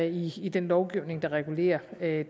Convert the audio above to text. i i den lovgivning der regulerer